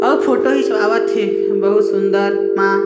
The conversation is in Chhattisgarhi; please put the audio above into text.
औ फोटो हिचवावत हे बहुत सूंदर म--